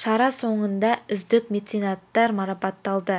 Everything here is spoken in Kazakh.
шара соңында үздік меценаттар марапатталды